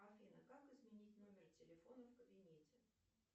афина как изменить номер телефона в кабинете